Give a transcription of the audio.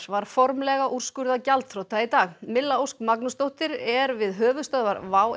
var formlega úrskurðað gjaldþrota í dag milla Ósk Magnúsdóttir er við höfuðstöðvar WOW